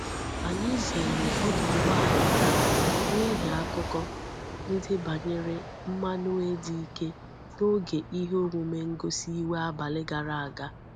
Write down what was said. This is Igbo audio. Anyi zere odu ugbo ala taa nihi akuko ndi banyere mmanue di Ike n'oge ihe omume ngosi iwe abali gara aga.